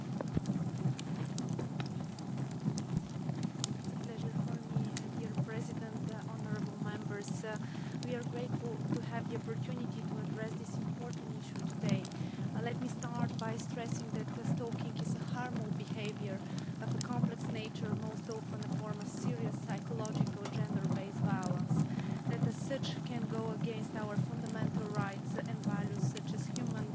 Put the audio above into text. Madam President, honourable Members, we are grateful to have the opportunity to address this important issue today. Let me start by stressing that stalking is harmful behaviour of a complex nature and most often a form of serious psychological gender based violence that as such can go against our fundamental rights and values such as human dignity and equality.